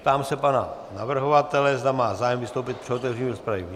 Ptám se pana navrhovatele, zda má zájem vystoupit při otevření rozpravy.